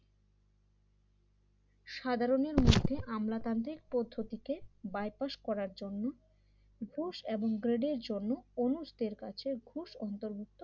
সাধারণের মধ্যে আমলাতান্ত্রিক পদ্ধতিতে বাইপাস করার জন্য দোষ এবং গার্ডের জন্য অনুষদের কাছে ঘুষ অন্তর্ভুক্ত